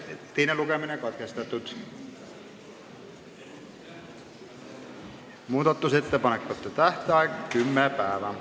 Teine lugemine on katkestatud ja muudatusettepanekute tähtaeg on kümme päeva.